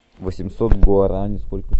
восемьсот гуарани сколько